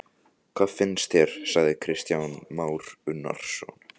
Kristján Már Unnarsson: Hvað finnst þér?